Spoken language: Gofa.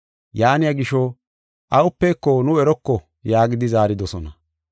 Yaaniya gisho, “Awupeko nu eroko” yaagidi zaaridosona.